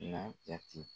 N'a jate